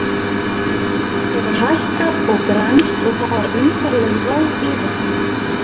Hann virtist hafa hækkað og grennst og það var undarleg ró yfir honum.